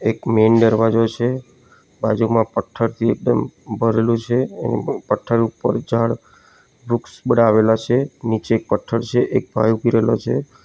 એક મેઇન ડરવાજો છે બાજુમાં પથ્ઠર થી એકદમ ભરેલું છે પથ્ઠર ઉપર ઝાડ વૃક્ષ બઢા આવેલા છે નીચે એક પથ્ઠર છે એક ભાઈ ઊભી રેલો છે.